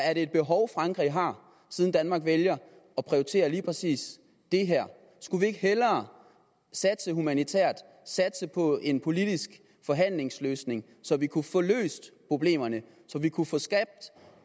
er det et behov frankrig har siden danmark vælger at prioritere lige præcis det her skulle vi ikke hellere satse humanitært satse på en politisk forhandlingsløsning så vi kunne få løst problemerne så vi kunne få skabt